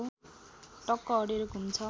टक्क अडेर घुम्छ